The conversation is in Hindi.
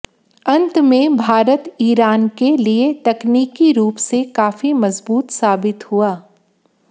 अंत में भारत ईरान के लिए तकनीकी रूप से काफी मजबूत साबित हुआ